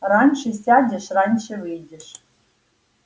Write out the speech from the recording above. раньше сядешь раньше выйдешь